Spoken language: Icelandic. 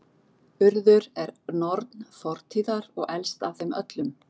Urður er norn fortíðar og elst af þeim öllum.